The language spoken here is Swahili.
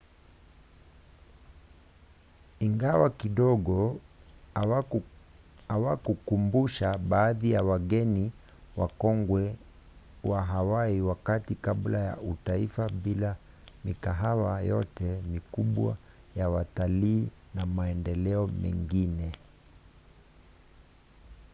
ingawa kidogo huwakumbusha baadhi ya wageni wakongwe wa hawaii wakati kabla ya utaifa bila mikahawa yote mikubwa ya watalii na maendeleo mengine